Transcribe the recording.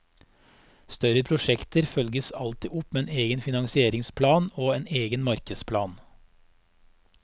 Større prosjekter følges alltid opp med egen finansieringsplan og en egen markedsplan.